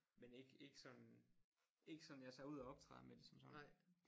Men ikke ikke sådan ikke sådan jeg tager ud og optræder med det som sådan